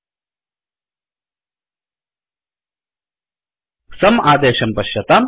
sumसम् आदेशं पश्यताम्